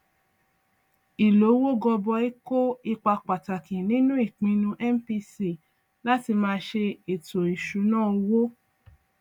ìlówó gọbọi kó ipa pàtàkì nínú ìpinnu mpc láti máa ṣe ètò ìṣúnná owó